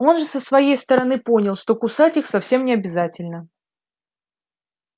он же со своей сгороны понял что кусать их совсем необязательно